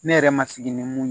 Ne yɛrɛ ma sigi ni mun ye